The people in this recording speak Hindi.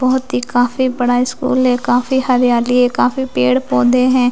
बहुत ही काफी बड़ा स्कूल है काफी हरियाली है काफी पेड़ पौधे हैं।